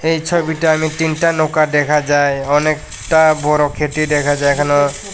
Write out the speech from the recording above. এই ছবিটা আমি তিনটা নৌকা দেখা যায় অনেকটা বড় খেতি দেখা যায় এখানেও--